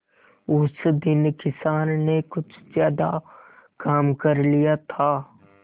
उस दिन किसान ने कुछ ज्यादा काम कर लिया था